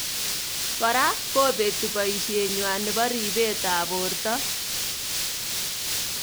Kora kobeti boishet nywa nebo reibet ab borto.